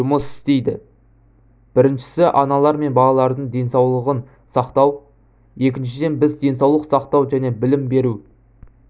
жұмыс істейді біріншісі аналар мен балалардың денсаулығын сақтау екіншіден біз денсаулық сақтау және білім беру